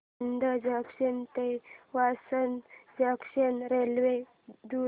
Anand junction ते Vasad junction railway द्वारे